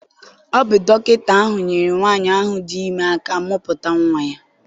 Ọ bụ dọkịta ahụ nyere nwaanyị ahụ dị ime aka mụputa nwa ya.